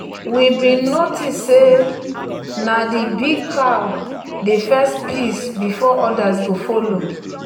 we bin notice say na the big cow dey first piss before others go follow.